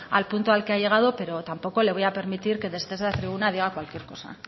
al punto al que ha llegado pero tampoco le voy a permitir que desde esta tribuna diga cualquier cosa